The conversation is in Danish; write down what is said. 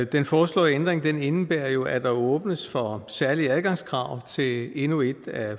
den foreslåede ændring indebærer jo at der åbnes for særlige adgangskrav til endnu et af